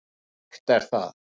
Og sárt er það.